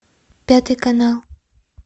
пятый канал